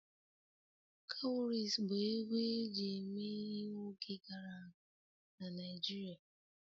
Cowries bụ ego eji eme ihe n'oge gara aga na Naijiria